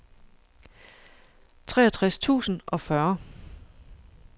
treogtres tusind og fyrre